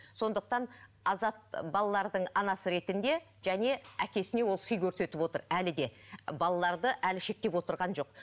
сондықтан азат балалардың анасы ретінде және әкесіне ол сый көрсетіп отыр әлі де балаларды әлі шектеп отырған жоқ